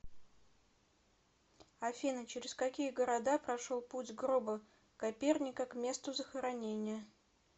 афина через какие города прошел путь гроба коперника к месту захоронения